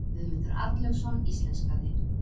Guðmundur Arnlaugsson íslenskaði.